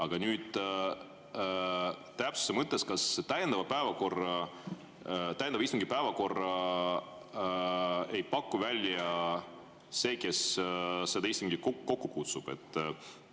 Aga nüüd täpsuse mõttes: kas täiendava istungi päevakorda ei paku välja see, kes selle istungi kokku kutsub?